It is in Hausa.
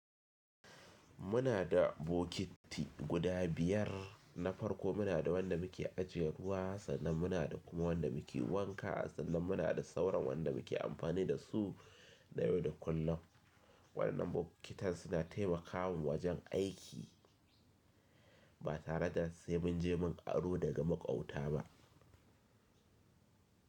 Muna da bokiti guda biyar na farko muna da wanda muke ajiye ruwa sannan muna da kuma wanda muke wanka sannan muna da sauran wanda muke amfani da su na yau da kullum. Wannan bokitan suna taimakawa wajen aiki ba tare da sai mun je mun aro daga maƙwabta ba.